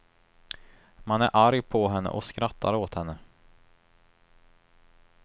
Man är arg på henne och skrattar åt henne.